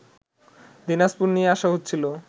দিনাজপুর নিয়ে আসা হচ্ছিল